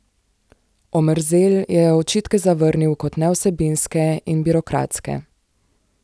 Omerzel je očitke zavrnil kot nevsebinske in birokratske.